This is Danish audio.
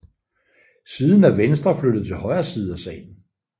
Siden er Venstre flyttet til højre side af salen